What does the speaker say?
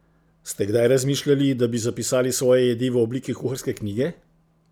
Ste kdaj razmišljali, da bi zapisali svoje jedi v obliki kuharske knjige?